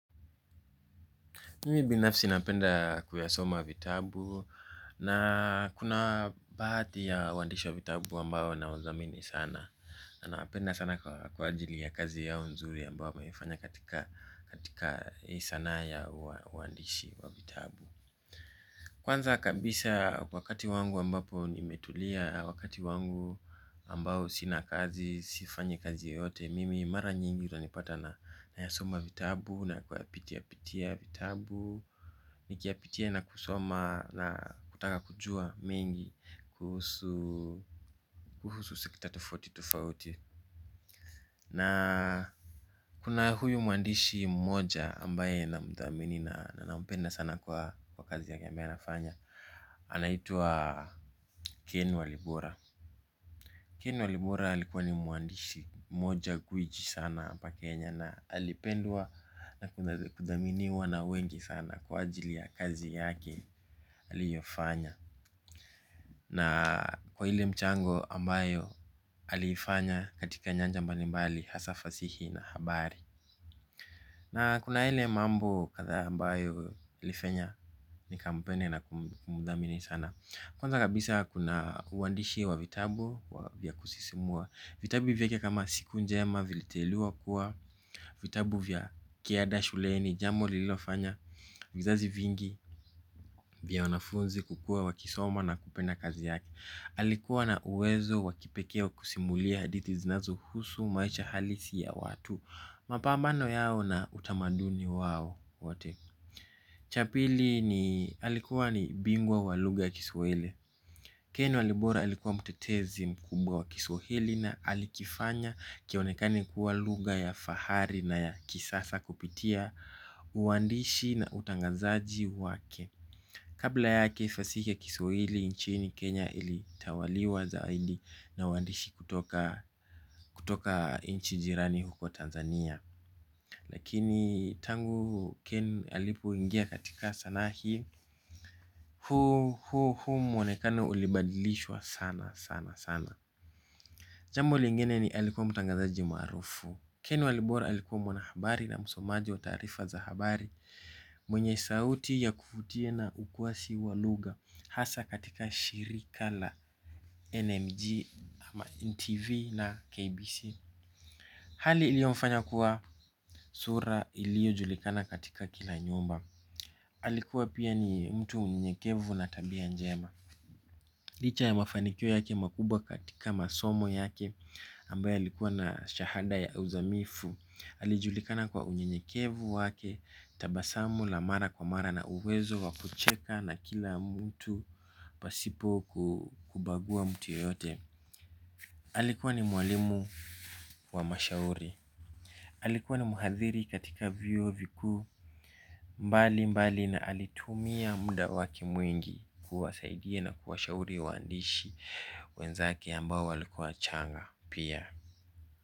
Mimi binafsi napenda kuyasoma vitabu na kuna baadhi ya waandishi wa vitabu ambao na wadhamini sana. Na nawapenda sana kwa ajili ya kazi yao nzuri ambao wameifanya katika ya sana ya uandishi wa vitabu. Kwanza kabisa wakati wangu ambapo nimetulia wakati wangu ambao sina kazi, sifanyi kazi yote Mimi mara nyingi utanipata nayasoma vitabu na kuyapitia pitia vitabu. Nikiyapitia na kusoma na kutaka kujua mengi kuhusu kuhusu sekta tofauti tofauti. Na kuna huyu muandishi mmoja ambaye na mdhamini na na mpenda sana kwa kazi yake ambaye nafanya Anaitwa Ken Walibora Ken Walibora alikuwa ni muandishi mmoja gwiji sana hapa Kenya. Na alipenwua na kudhaminiwa na wengi sana kwa ajili ya kazi yake aliyofanya. Na kwa ile mchango ambayo aliifanya katika nyanja mbalimbali hasa fasihi na habari na kuna yale mambo kadhaa ambayo ilifanya nikampenda na kumdhamini sana. Kwanza kabisa kuna uandishi wa vitabu wa vya kusisimua. Vitabu hivi vyake kama siku njema viliteuliwa kuwa, vitabu vya kiada shuleni, jambo lililofanya, vizazi vingi vya wanafunzi kukuwa wakisoma na kupedna kazi yake. Alikuwa na uwezo wakipekee wa kusimulia hadithi zinazo husu maisha halisi ya watu. Mapambano yao na utamaduni wao wote. Cha pili ni alikuwa ni bingwa walugha ya kiswahili. Ken walibora alikuwa mtetezi mkubwa wa kiswahili na alikifanya kionekani kuwa lugha ya fahari na ya kisasa kupitia uandishi na utangazaji wake kabla yake fasihi ya kiswahili nchini kenya ilitawaliwa zaidi na waandishi kutoka nchi jirani huko Tanzania. Lakini tangu Ken alipoingia katika sanaa hii huu huu huu mwonekano ulibadilishwa sanasana. Jambo lingine ni alikuwa mtangazaji maarufu Ken walibora alikuwa mwanahabari na msomaji wa taarifa za habari. Mwenye sauti ya kuvutia na ukwasi walugha hasa katika shirika la NMG ama NTV na KBC Hali ilio mfanya kuwa sura ilio julikana katika kila nyumba. Alikuwa pia ni mtu mnyenyekevu na tabia njema. Licha ya mafanikio yake makubwa katika masomo yake ambaye alikuwa na shahada ya uzamifu alijulikana kwa unyekevu wake. Tabasamu la mara kwa mara na uwezo wakucheka na kila mtu pasipo kubagua mtu yoyote. Alikuwa ni mwalimu wa mashauri. Alikuwa ni mhadhiri katika vyuo vikuu mbali mbali na alitumia muda wake mwingi kuwasaidia na kuwashauri waandishi wenzake ambao walikuwa wachanga pia.